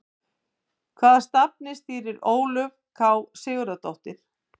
Hvaða safni stýrir Ólöf K Sigurðardóttir?